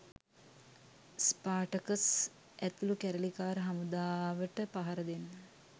Spartacus ඇතුළු කැරලිකාර හමුදාවට පහරදෙන්න.